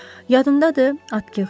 Yadımdadır, Atkiç.